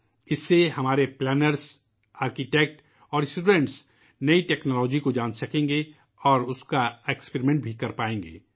اس سے ہمارے منصوبہ بندی کرنے والوں ، آرکیٹیکٹس ، انجینئرز اور طلباء نئی ٹیکنالوجی کو جان سکیں گے اور وہ اس کے ساتھ تجربہ بھی کرسکیں گے